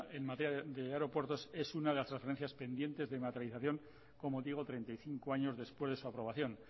en materia de aeropuertos es una de las transferencias pendientes de materialización como digo treinta y cinco años después de su aprobación